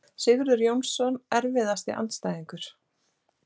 Sigurður Jónsson Erfiðasti andstæðingur?